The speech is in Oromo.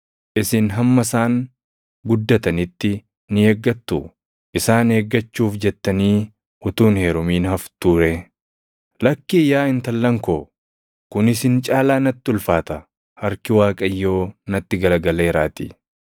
isin hamma isaan guddatanitti ni eeggattuu? Isaan eeggachuuf jettanii utuu hin heerumin haftuu ree? Lakkii yaa intallan koo. Kun isin caalaa natti ulfaata; harki Waaqayyoo natti garagaleeraatii!”